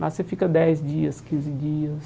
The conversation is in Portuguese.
Lá você fica dez dias, quinze dias.